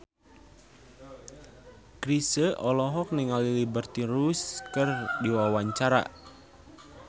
Chrisye olohok ningali Liberty Ross keur diwawancara